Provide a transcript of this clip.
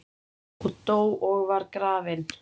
og dó og var grafinn